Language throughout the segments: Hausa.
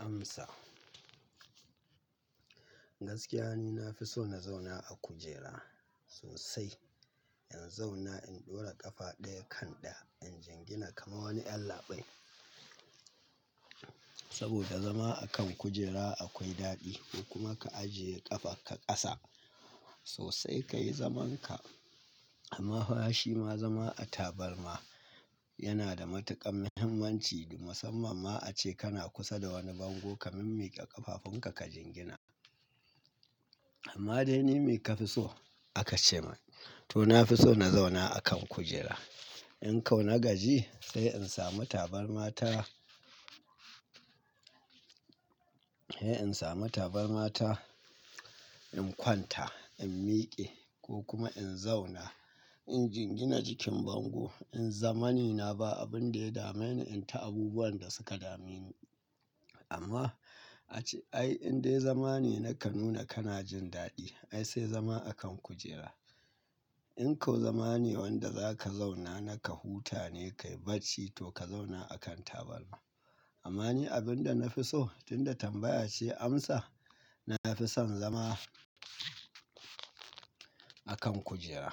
Amsa. Gaskiya ni na fi so na zauna a kujera sosai. In zauna in ɗora ƙafa ɗaya kan ɗaya, in jingina kamar wani ƴan labai. Saboda zama akan kujera akwai daɗi, ko kuma ka ajiye ƙafakka ƙasa, sosai ka yi zamanka. Amma fa shi ma zama a tabarma, yana da matuƙar mahimmanci, musamman ma ace kana kusa da wani bango ka min-miƙe ƙafafunka ka jingina. Amma dai ni me ka fi so? A ka ce min. To na fi so na zauna a kan kujera. In kau na gaji sai in samu tabarma ta ai in samu tabarma ta, in kwanta, in miƙe ko kuma in zauna, In jingina jikin bango, in zama ni na ba abin da ya dame ni in ta abubuwan da suka dame ni. Amma a ce ai in dai zama ne na ka nuna kana jin daɗi, ai sai zama akan kujera. In kau zama ne wanda za ka zauna na ka huta ne ka yi barci, to ka zauna a kan tabarma. Amma ni abin da na fi so, tunda tambaya ce amsa, na fi son zama, akan kujera.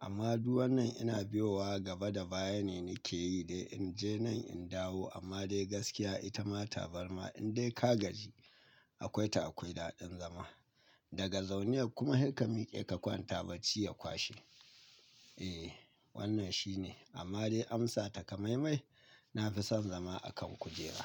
Amma duwannan ina biyowa gaba da baya ne nake yi dai in je nan in dawo amma dai gaskiya ita ma tabarma in dai ka gaji, akwai ta akwai daɗin zama. Daga zauniyar kuma haika miƙe ka kwanta barci ya kwashe. Eh, wannan shi ne, amma dai amsa takamaimai, na fi son zama a kan kujera.